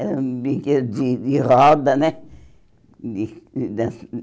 Eram brinquedos de de roda, né? De de